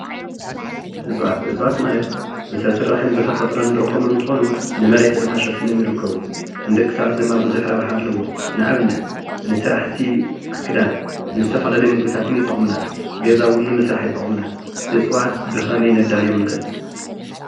እጽዋት፦ እጽዋት ማለት ብሰብ ስራሕ ብተፍጥሮ ንረኽቦም እትኮኑ ንመሬት ድማ ሸፊኖም ይርክቡ። ንደቂ ሰባት ድማ ብዙሕ ረብሓ ኣለዎም። ንእብነት ንስራሕቲ ክዳን፣ ንዝተፋላለዩ ምግብታት ይጠቅሙና። ገዛ እዉን ንምስራህ ይጥቅሙና። እጸዋት ብ ኽመይ ነዳልዮም ንኽእል?